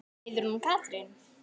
Heiðrún og Katrín.